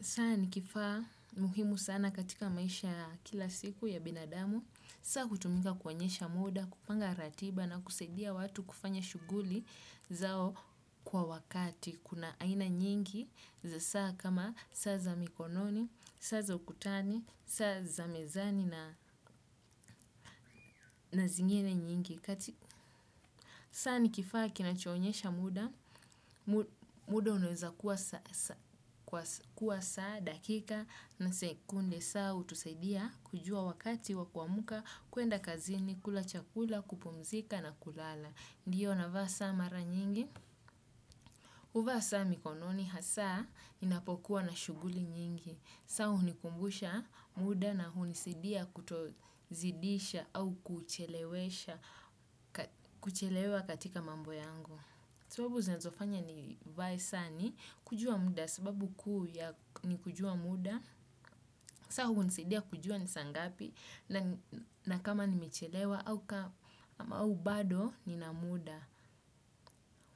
Saa ni kifaa muhimu sana katika maisha kila siku ya binadamu, saa hutumika kuonyesha muda, kupanga ratiba na kusaidia watu kufanya shuguli zao kwa wakati. Kuna aina nyingi za saa kama saa za mikononi, saa za ukutani, saa za mezani na zingine nyingi. Saa ni kifaa kinachonyesha muda, muda unaweza kuwa saa dakika na sekunde saa hutusaidia kujua wakati wa kuamka kuenda kazini, kula chakula, kupumzika na kulala. Ndiyo navaa saa mara nyingi, huvaa saa mikononi hasaa ninapokuwa na shuguli nyingi, saa hunikumbusha muda na hunisidia kutozidisha au kuchelewa katika mambo yangu. Sababu zinazofanya nivae saa ni, kujua muda sababu kuu ya ni kujua muda, saa hunisaidia kujua ni saa ngapi na kama nimechelewa au bado ni na muda.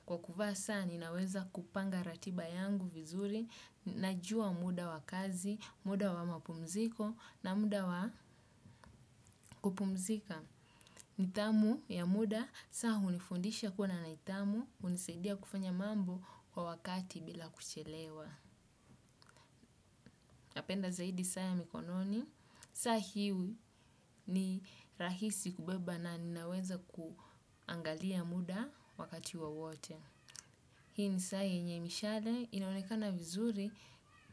Kwa kuvaa saa ninaweza kupanga ratiba yangu vizuri, najua muda wa kazi, muda wa mapumziko na muda wa kupumzika. Nithamu ya muda, saa hunifundisha kua na nithamu, hunisaidia kufanya mambo kwa wakati bila kuchelewa. Napenda zaidi saa ya mikononi saa hii ni rahisi kubeba na ninaweza kuangalia muda wakati wowote hii hi saa yenye mishale inaonekana vizuri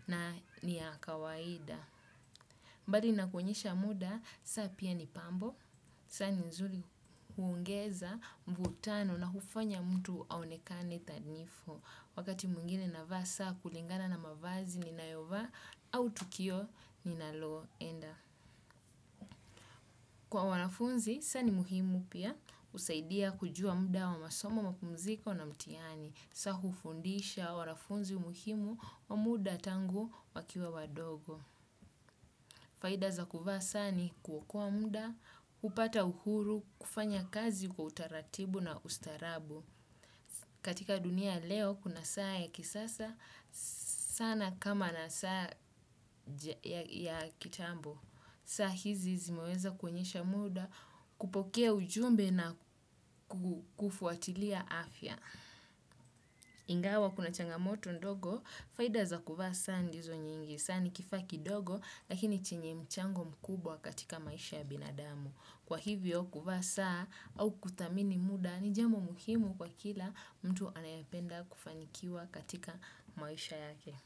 na ni ya kawaida bali na kuonyesha muda, saa pia ni pambo, saa ni nzuri huongeza mvutano na hufanya mtu aonekane thanifu. Wakati mwingine navaa saa kulingana na mavazi ninayovaa au tukio ninaloo enda. Kwa wanafunzi, saa ni muhimu pia husaidia kujua muda wa masomo mapumziko na mtihani. Saa hufundisha wanafunzi muhimu wa muda tangu wakiwa wadogo. Faida za kuvaa saa ni kuokoa muda, hupata uhuru, kufanya kazi kwa utaratibu na ustaarabu. Katika dunia ya leo, kuna saa ya kisasa, sana kama na saa ya kitambo. Saa hizi zimeweza kuonyesha muda, kupokea ujumbe na kufuatilia afya. Ingawa kuna changamoto ndogo, faida za kuvaa saa ndizo nyingi. Saa ni kifaa kidogo lakini chenye mchango mkubwa katika maisha ya binadamu. Kwa hivyo kuvaa saa au kuthamini muda ni jambo muhimu kwa kila mtu anayependa kufanikiwa katika maisha yake.